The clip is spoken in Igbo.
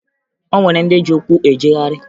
O nwere ndị ji ụkwụ ejegharị